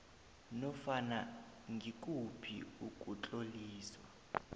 nofana ngikuphi ukutloliswa